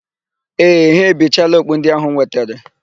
Ee, ha ebichaala okpu ndị áhụ̀ m wetere.